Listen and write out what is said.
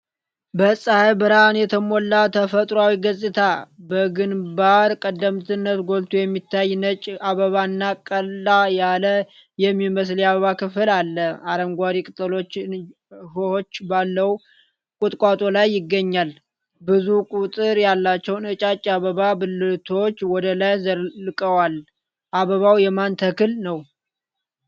በፀሐይ ብርሃን የተሞላ ተፈጥሮአዊ ገጽታ። በግንባር ቀደምትነት ጎልቶ የሚታይ ነጭ አበባ እና ቀላ ያለ የሚመስል የአበባ ክፍል አለ። አረንጓዴ ቅጠሎችና እሾሆች ባለው ቁጥቋጦ ላይ ይገኛል። ብዙ ቁጥር ያላቸው ነጫጭ የአበባ ብልቶች ወደ ላይ ዘልቀዋል። አበባው የማን ተክል ነው?